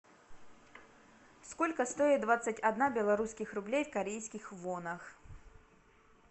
сколько стоит двадцать одна белорусских рублей в корейских вонах